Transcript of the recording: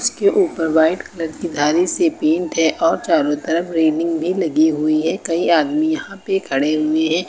के ऊपर white colour की धारी से पेंट है और चारों तरफ रेलिंग भी लगी हुई है कई आदमी यहां पे खड़े हुए हैं।